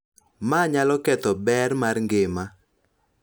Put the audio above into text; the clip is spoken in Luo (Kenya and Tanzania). Ma nyalo ketho ber mar ngima .